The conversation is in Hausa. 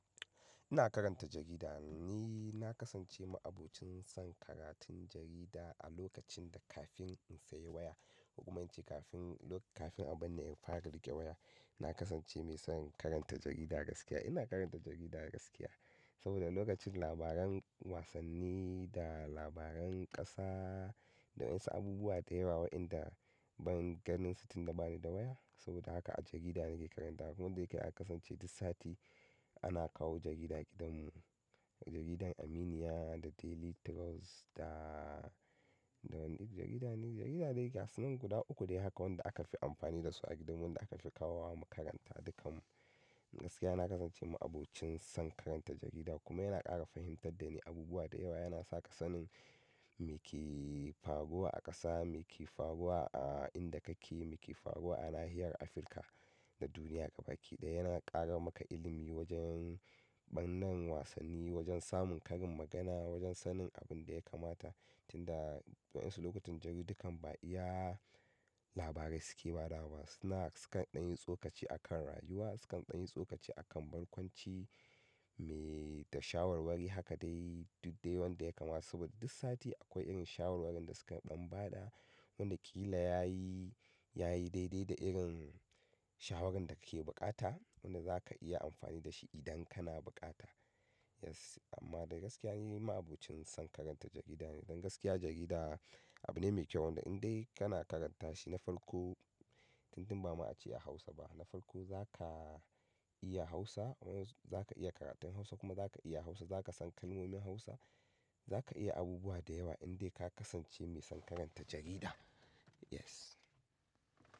Ina karanta jarida ne. Ni ina kasance ma'abocin son karatun jarida a lokacin da kafin in sayi waya. Huguman ce kafin, kafin a bar ni in fara riƙe waya. Na kasance mai son karanta jarida gaskiya. Ina karanta jarida gaskiya. Saboda lokacin labaran wasanni da labaran ƙasa da wassu abubuwa da yawa waɗanda ban ganin su tunda bani da waya. Saboda haka a jarida nake karanta. Kuma dai kai aka kasance duk sati ana kawo jarida gidanmu. Jaridar Aminiya da Daily Trust da, da wani jarida ne, jarida dai ga su nan guda uku dai haka wanda aka fi amfani dasu a gidanmu wanda aka fi kawo wa mu karanta dukanmu. Gaskiya na kasance ma'abocin son karanta jarida kuma yana ƙara fahimtar da ni abubuwa da yawa. Yana sa ka san me ke faruwa a ƙasa, me ke faruwa a inda kake, me ke faruwa a nahiyar Afirka da duniya gaba ɗaya. Yana ƙara maka ilimi wajen ɓangaren wasanni, wajen samun karin magana, wajen sanin abun da ya kamata. Tinda waɗansu lokutan jaridu kam ba iya labarai suke marawa. Suna, sukan ɗanyi tsokaci a kan rayuwa, sukan ɗanyi tsokaci a kan barkwanci me da shawarwari haka dai duk dai wanda ya kamata. Saboda duk sati akwai irin shawarwarin da sukan dan ba da wanda ƙila yayi, yayi daidai da irin shawarar da kake bukata. Wanda zaka iya amfani da shi idan kana bukata. Yes amma dai gaskiya nima abocin son karanta jarida ne. Don gaskiya jarida abu ne mai kyau wanda in dai kana karanta shi na farko, tun tun ba a ce a Hausa ba. Na farko za ka iya Hausa, zaka iya karatun Hausa kuma zaka iya Hausa, zaka san kalmomin Hausa. Zaka iya abubuwa da yawa in dai ka kasance mai son karanta jarida. Yes.